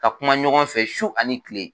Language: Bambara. Ka kuma ɲɔgɔn fɛ su ani kile.